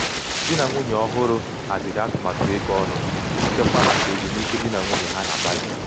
di na nwunye ọhụrụ haziri nwunye ọhụrụ haziri um atụmatụ ego um ọnụ iji chekwaa maka ezumike di na nwunye ha na um bali.